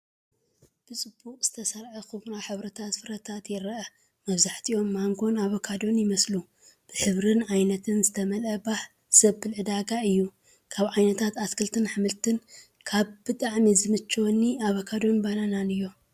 ብጽቡቕ ዝተሰርዐ ኵምራ ሕብራዊ ፍረታት ይርአ። መብዛሕትኦም ማንጎን ኣቮካዶን ይመስሉ። ብሕብርን ዓይነትን ዝተመልአ ባህ ዘብል ዕዳጋ እዩ። ካብ ዓይነታት ኣትክልትን ኣሕምልትን ካብ ብጣዕሚ ዝምችውኒ ኣቮካዶን ባናናን እዮም፡፡